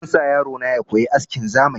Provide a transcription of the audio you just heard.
Zan sa yaro na ya koyi askin zamani